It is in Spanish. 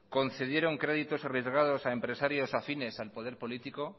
concedieron créditos arriesgados a empresarios afines al poder político